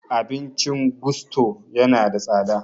Abincin gusto yana da tsada